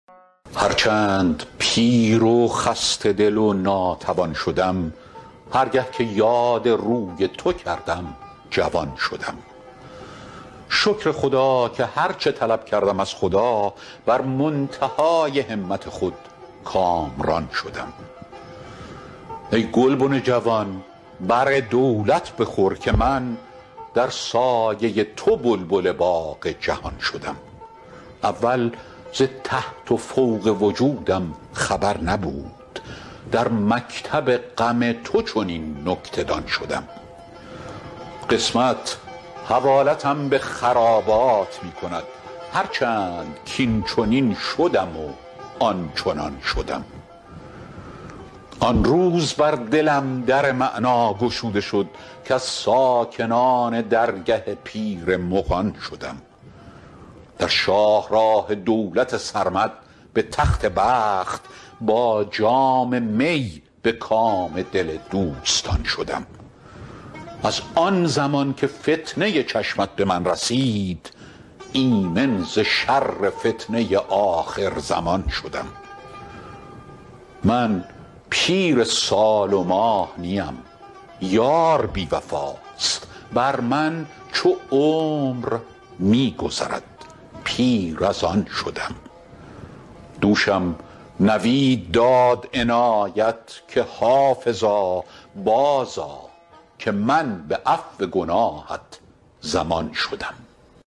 هر چند پیر و خسته دل و ناتوان شدم هر گه که یاد روی تو کردم جوان شدم شکر خدا که هر چه طلب کردم از خدا بر منتهای همت خود کامران شدم ای گلبن جوان بر دولت بخور که من در سایه تو بلبل باغ جهان شدم اول ز تحت و فوق وجودم خبر نبود در مکتب غم تو چنین نکته دان شدم قسمت حوالتم به خرابات می کند هر چند کاینچنین شدم و آنچنان شدم آن روز بر دلم در معنی گشوده شد کز ساکنان درگه پیر مغان شدم در شاه راه دولت سرمد به تخت بخت با جام می به کام دل دوستان شدم از آن زمان که فتنه چشمت به من رسید ایمن ز شر فتنه آخرزمان شدم من پیر سال و ماه نیم یار بی وفاست بر من چو عمر می گذرد پیر از آن شدم دوشم نوید داد عنایت که حافظا بازآ که من به عفو گناهت ضمان شدم